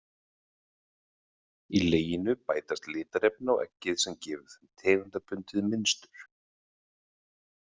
Í leginu bætast litarefni á eggið sem gefur þeim tegundabundið mynstur.